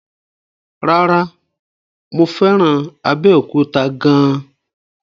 No, mo fẹ́ràn Abẹ́òkúta gan an.